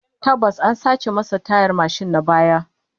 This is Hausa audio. Tabbas, an sace masa tayar mashin na baya